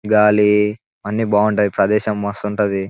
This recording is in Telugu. గాలి అన్ని బాగుంటాయి. ఈ ప్రదేశం మస్తుంటది.